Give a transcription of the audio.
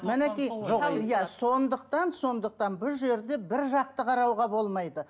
мінекей жоқ иә сондықтан сондықтан бұл жерде бір жақты қарауға болмайды